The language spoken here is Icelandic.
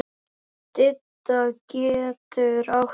Didda getur átt við